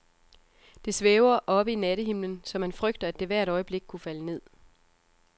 Det svæver oppe i nattehimlen, så man frygter, at det hvert øjeblik kunne falde ned.